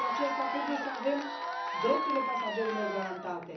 Dar, pentru aceasta, trebuie să avem drepturile pasagerilor garantate.